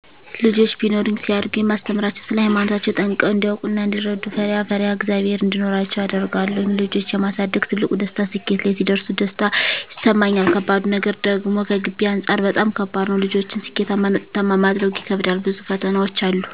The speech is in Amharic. ልጆች ቢኖሩኝ ሲያድጉ የማስተምራቸዉ ስለ ሃይማኖታቸዉ ጠንቅቀዉ እንዲያዉቁ እና እንዲረዱ፣ ፈሪአ ፈሪሃ እግዝአብሔር እንዲኖራቸዉ አደርጋለሁ ልጆች የማሳደግ ትልቁ ደስታ ስኬት ላይ ሲደርሱ ደስታ ይሰማኛል ከባዱ ነገር ደግሞከገቢ አንፃር በጣም ከባድ ነዉ ልጆችን ስኬታማና ዉጤታማ ማድረጉ ይከብዳል ብዙ ፈተናዎች አሉ